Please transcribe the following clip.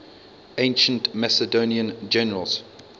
ancient macedonian generals